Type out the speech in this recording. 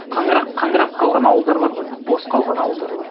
қаңырап қаңырап қалған ауылдар бар ғой бос қалған ауылдар бар